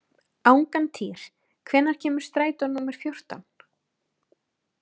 Angantýr, hvenær kemur strætó númer fjórtán?